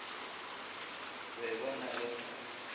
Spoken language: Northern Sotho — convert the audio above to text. be bo na le go